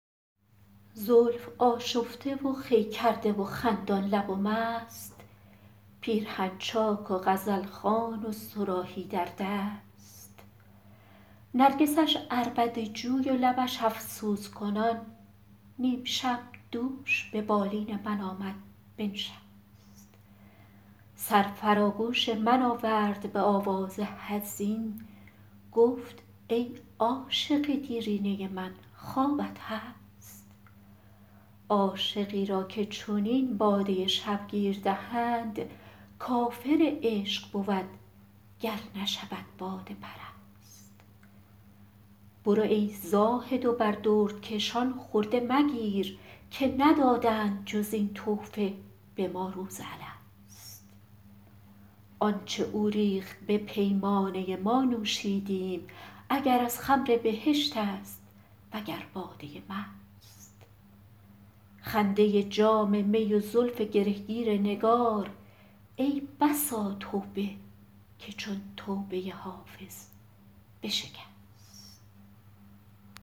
زلف آشفته و خوی کرده و خندان لب و مست پیرهن چاک و غزل خوان و صراحی در دست نرگسش عربده جوی و لبش افسوس کنان نیم شب دوش به بالین من آمد بنشست سر فرا گوش من آورد به آواز حزین گفت ای عاشق دیرینه من خوابت هست عاشقی را که چنین باده شبگیر دهند کافر عشق بود گر نشود باده پرست برو ای زاهد و بر دردکشان خرده مگیر که ندادند جز این تحفه به ما روز الست آن چه او ریخت به پیمانه ما نوشیدیم اگر از خمر بهشت است وگر باده مست خنده جام می و زلف گره گیر نگار ای بسا توبه که چون توبه حافظ بشکست